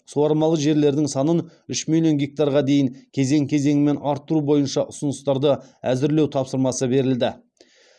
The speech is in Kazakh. суармалы жерлердің санын үш миллион гектарға дейін кезең кезеңімен арттыру бойынша ұсыныстарды әзірлеу тапсырмасы берілді